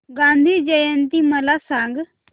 गांधी जयंती मला सांग